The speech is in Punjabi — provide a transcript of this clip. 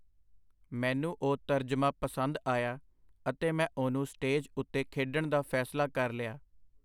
ਮੈਨੂੰ ਉਹ ਤਰਜਮਾ ਪਸੰਦ ਆਇਆ, ਅਤੇ ਮੈਂ ਉਹਨੂੰ ਸਟੇਜ ਉਤੇ ਖੇਡਣ ਦਾ ਫੈਸਲਾ ਕਰ ਲਿਆ.